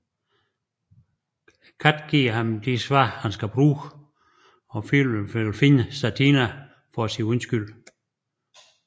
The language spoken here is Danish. Katten giver ham de svar han skal bruge og Filip vil finde Satina for at sige undskyld